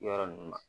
Yɔrɔ ninnu ma